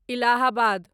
Allahabad